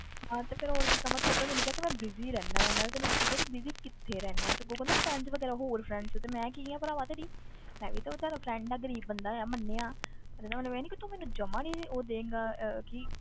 ਹਾਂ ਤੇ ਫਿਰ ਹੋਰ ਕੀ ਕਵਾਂ, ਤੂੰ ਆਪੇ ਮੈਨੂੰ ਕਿਹਾ ਕਿ ਮੈਂ busy ਰਹਿਨਾ ਆਂ, ਮੈਂ ਤਾਂ ਤੈਨੂੰ ਪੁੱਛਿਆ ਤੂੰ busy ਕਿੱਥੇ ਰਹਿਨਾ ਤੇ ਅੱਗੋਂ ਕਹਿੰਦਾ friends ਵਗ਼ੈਰਾ ਹੋਰ friends ਤੇ ਮੈਂ ਕੀ ਹਾਂ ਭਰਾਵਾ ਤੇਰੀ ਮੈਂ ਵੀ ਤਾਂ ਬੇਚਾਰਾ friend ਹਾਂ ਗ਼ਰੀਬ ਬੰਦਾ ਹਾਂ ਮੰਨਿਆ ਪਰ ਇਹਦਾ ਮਤਲਬ ਇਹ ਨੀ ਕੀ ਤੂੰ ਮੈਨੂੰ ਜਮਾ ਨੀ ਉਹ ਦਏਂਗਾ ਅਹ ਕੀ